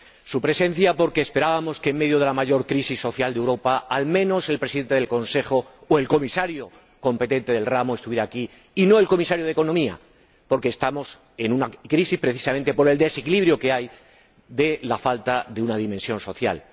Su presencia, porque esperábamos que, en medio de la mayor crisis social de Europa, al menos el Presidente del Consejo, o el Comisario competente del ramo, estuvieran aquí, y no el Comisario de Economía, porque estamos en una crisis precisamente por el desequilibrio que hay debido a la falta de una dimensión social.